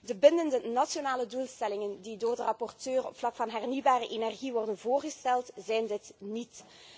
De bindende nationale doelstellingen die door de rapporteur op het vlak van hernieuwbare energie worden voorgesteld, zijn dit niet.